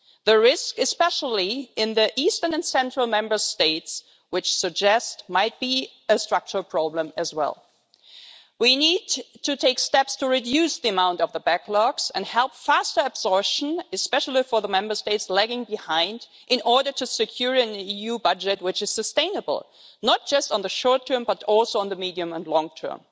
The risk, especially in the eastern and central Member States, suggests that there might be a structural problem as well. We need to take steps to reduce the amount of the backlogs and help faster absorption, especially for the Member States lagging behind, in order to secure an EU budget which is sustainable, not just in the short term but also in the medium and long term.